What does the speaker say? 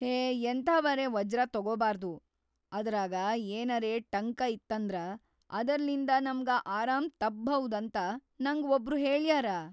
ಹೇ ಎಂಥಾವರೆ ವಜ್ರ ತೊಗೊಬಾರ್ದು, ಅದರಾಗ ಏನರೇ ಟಂಕ ಇತ್ತಂದ್ರ ಅದರ್ಲಿಂದ ನಮ್ಗ ಆರಾಮ್‌ ತಪ್ಪ್‌ಭೌದ್‌ ಅಂತ ನಂಗ ವಬ್ರು ಹೇಳ್ಯಾರ.